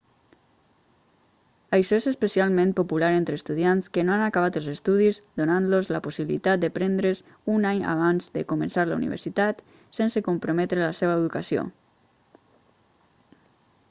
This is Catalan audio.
això és especialment popular entre estudiants que no han acabat els estudis donant-los la possibilitat de prendre's un any abans de començar la universitat sense comprometre la seva educació